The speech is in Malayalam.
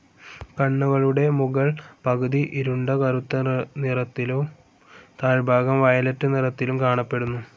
കണ്ണുകളുടെ മുകൾ പകുതി ഇരുണ്ട കറുത്ത നിറത്തിലും താഴ്ഭാഗം വയലറ്റ്‌ നിറത്തിലും കാണപ്പെടുന്നു.